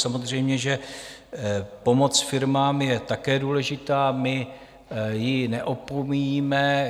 Samozřejmě že pomoc firmám je také důležitá, my ji neopomíjíme.